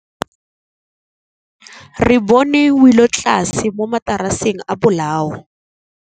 Re bone wêlôtlasê mo mataraseng a bolaô.